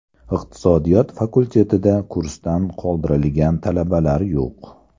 Iqtisodiyot fakultetida kursdan qoldirilgan talabalar yo‘q.